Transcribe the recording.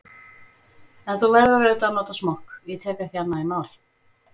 En þú verður auðvitað að nota smokk, ég tek ekki annað í mál.